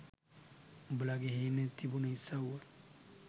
උඹලගෙ හේන තිබුන ඉසව්ව